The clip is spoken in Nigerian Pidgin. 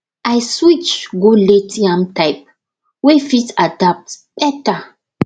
i switch go late yam type wey fit adapt better